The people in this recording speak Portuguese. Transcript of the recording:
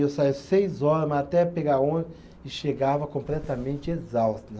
Eu saía seis hora, mas até pegar ônibus e chegava completamente exausto né